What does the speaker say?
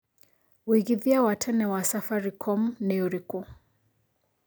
wĩigithia wa tene wa safaricom nĩ ũrĩkũ